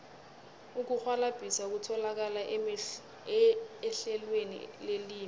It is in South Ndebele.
ukurhwalabhisa kutholakala ehlelweni lelimi